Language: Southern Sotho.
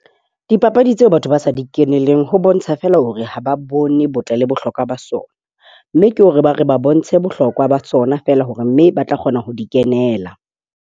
Dipapadi tseo batho ba sa di keneleng ho bontsha feela hore ha ba bone botle le bohlokwa ba sona, mme ke hore ba re ba bontshe bohlokwa ba tsona feela hore mme ba tla kgona ho di kenela.